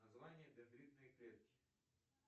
название дендритные клетки